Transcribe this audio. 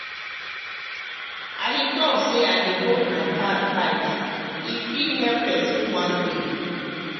i dey talk say i dey hold my card tight — e fit save person one day.